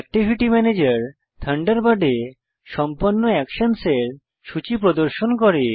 activity ম্যানেজের থান্ডারবার্ডে সম্পন্ন অ্যাকশনসের সূচী প্রদর্শিত করে